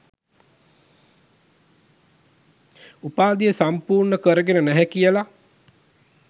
උපාධිය සම්පුර්ණ කරගෙන නැහැ කියල